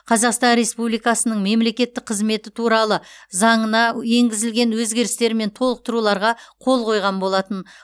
қазақстан республикасының мемлекеттік қызметі туралы заңына енгізілген өзгерістер мен толықтыруларға қол қойған болатын